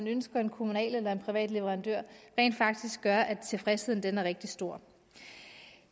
ønsker en kommunal eller en privat leverandør rent faktisk gør at tilfredsheden er rigtig stor